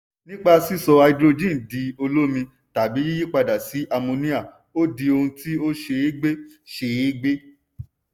nípa sísọ háídírójìn di olómi tàbi yíyipadà sí àmóníà ó di ohun tí ó ṣe é gbé ṣe é gbé.